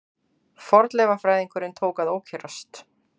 Fornleifafræðingurinn tók að ókyrrast.